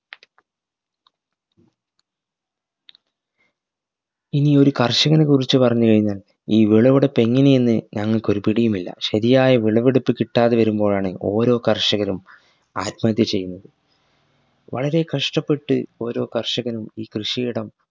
ഇനിയൊരു കർഷകനെ കുറിച്ച് പറഞ്ഞു കൈഞ്ഞാൽ ഈ വിളവെടുപ്പ് എങ്ങനെയെന്ന് ഞങ്ങൾക് ഒരു പിടിയും ഇല്ല ശരിയായ വിളവെടുപ്പ് കിട്ടാതെ വരുമ്പോഴാണ് ഓരോ കർഷകരും ആത്മഹത്യ ചെയ്യുന്നത് വളരെ കഷ്ടപ്പെട്ട് ഓരോ കർഷകനും ഈ കൃഷിയിടം